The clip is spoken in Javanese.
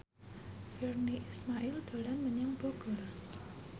Virnie Ismail dolan menyang Bogor